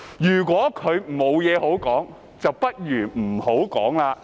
如果他沒有甚麼可以說，不如不要說。